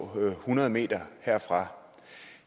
hundrede meter herfra